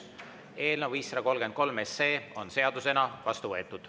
Eelnõu 533 on seadusena vastu võetud.